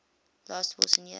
last wilson year